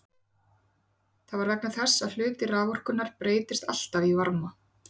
Það er vegna þess að hluti raforkunnar breytist alltaf í varma.